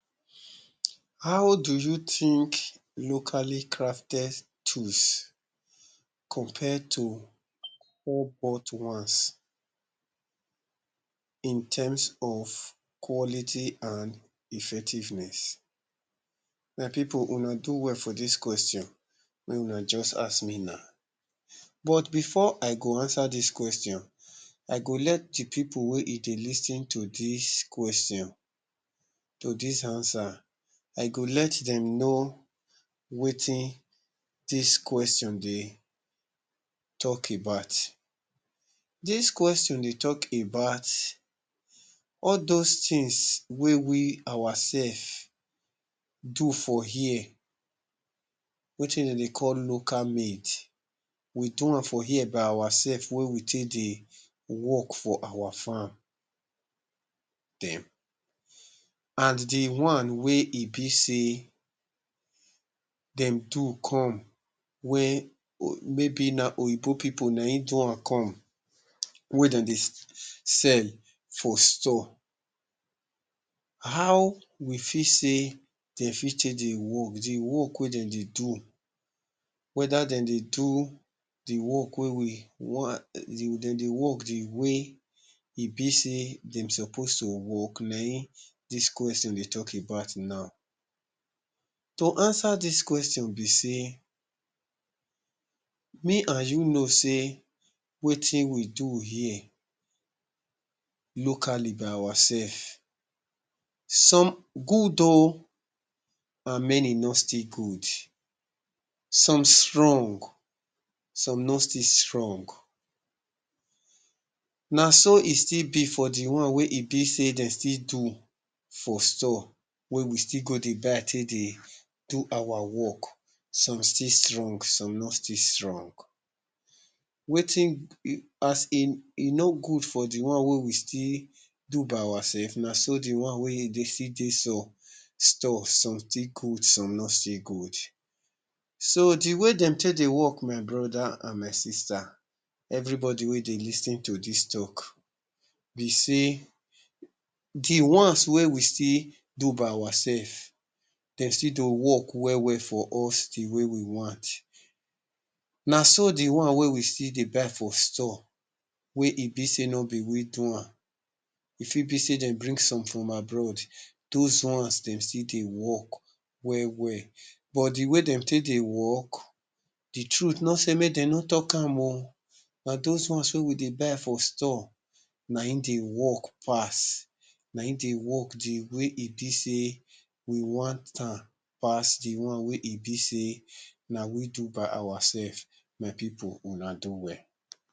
how do you think locally crafted tools compare to bought ones in terms of quality and effectiveness? my people una do well for dis question wey una just ask me now but before i go answer dis question i go let the people wey e dey lis ten to dis question to dis answer i go let dem know wetin dis question dey talk about dis question dey talk about all those things wey we ourself do for here wetin de dey call local made we dowam for here by ourself wey we take dey work for our farm dem and the one wey e be sey dem do come wey may be na oyinbo people nayin dowam come wey dem dey sell foe store how we feel sey de fit change the work, the work wey dem dey do weda dem dey do the work wey we de dey work the way e be sey dem suppose to work nayin dis question dey talk about now to answer dis question be sey me and you know sey wetin we do here locally by ourself some good o and many no still good, some strong some no still strong naso e still be for the one wey e be sey dey still do for store wey we still go dey buy take dey do our work some still strong, some no still strong wetin as e, e no good for the one wey we still do by ourself naso the one wey e see dey so store some still good some no still good so the wey de take dey work my brother and my sister, every body wey dey lis ten to dis talk be sey the ones wey we still do by ourself, de still dey work well for us the way we want naso the one wey we still dey buy for store wey e be sey no be we dowam e fit be sey dem bring some from abroad those ones dem still dey work well well but the wey dem take dey work the truth no sey make de no talk am o, na those ones wey we dey buy for store nayin dey work pass nayin dey work the wey e be sey we want am pass the one wey e be sey na we do by ourself, my people, una do well